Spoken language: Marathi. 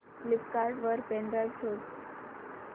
फ्लिपकार्ट वर पेन ड्राइव शोधा